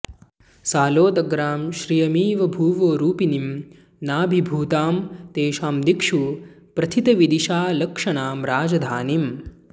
सालोदग्रां श्रियमिव भुवो रूपिणीं नाभिभूतां तेषां दिक्षु प्रथितविदिशालक्षणां राजधानीम्